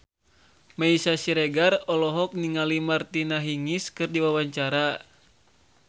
Meisya Siregar olohok ningali Martina Hingis keur diwawancara